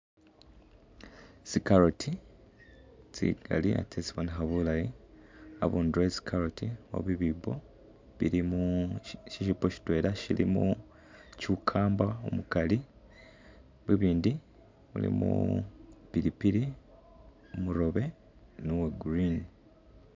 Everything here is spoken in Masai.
Tsi carrot tsingali ate tsibonekha bulayi abunduro we tsi carrot ali bibipo bilimo ishipo shitwela shilimo cucumber umukali binindi bilimo pilipili umurobe ni uwa green.